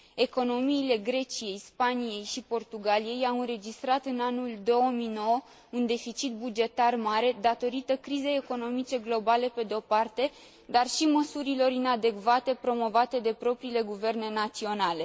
Economiile Greciei, Spaniei și Portugaliei au înregistrat în anul 2009 un deficit bugetar mare, datorită crizei economice globale, pe de o parte, dar și măsurilor inadecvate promovate de propriile guverne naționale.